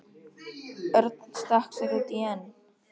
Örn stakk sér út í en